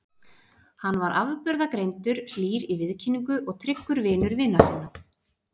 Hann var afburðagreindur, hlýr í viðkynningu og tryggur vinur vina sinna.